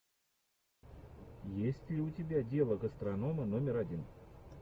есть ли у тебя дело гастронома номер один